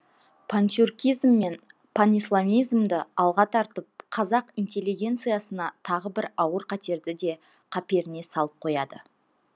пантюркизм мен панисламизмді алға тартып қазақ интеллегенциясына тағы бір ауыр қатерді де қаперіне салып қояды